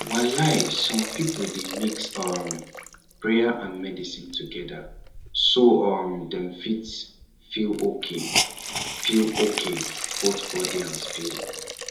walai some people dey mix um prayer and medicine together so um dem fit feel okay feel okay both body and spirit